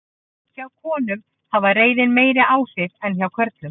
Hjá konum hafði reiðin meiri áhrif en hjá körlum.